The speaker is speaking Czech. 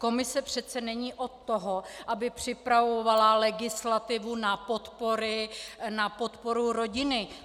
Komise přece není od toho, aby připravovala legislativu na podporu rodiny.